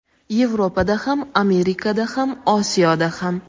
Yevropada ham, Amerikada ham, Osiyoda ham.